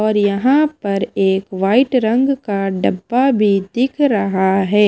और यहां पर एक व्हाइट रंग का डिब्बा भी दिख रहा है।